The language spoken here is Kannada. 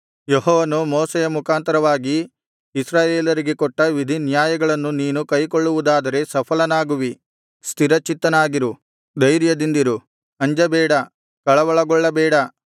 ಯೆಹೋವನು ಮೋಶೆಯ ಮುಖಾಂತರವಾಗಿ ಇಸ್ರಾಯೇಲರಿಗೆ ಕೊಟ್ಟ ವಿಧಿನ್ಯಾಯಗಳನ್ನು ನೀನು ಕೈಕೊಳ್ಳುವುದಾದರೆ ಸಫಲನಾಗುವಿ ಸ್ಥಿರಚಿತ್ತನಾಗಿರು ಧೈರ್ಯದಿಂದಿರು ಅಂಜಬೇಡ ಕಳವಳಗೊಳ್ಳಬೇಡ